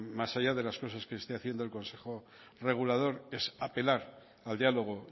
más allá de las cosas que esté haciendo el consejo regulador es apelar al diálogo